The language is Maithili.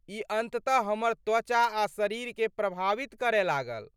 ई अन्ततः हमर त्वचा आ शरीरकेँ प्रभावित करय लागल।